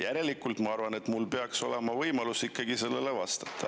Järelikult ma arvan, et mul peaks olema võimalus ikkagi sellele vastata.